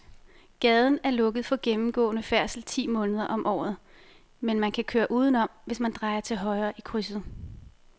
Gaden er lukket for gennemgående færdsel ti måneder om året, men man kan køre udenom, hvis man drejer til højre i krydset.